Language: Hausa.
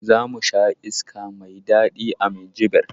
Za mu sha iska mai daɗi a Minjibir.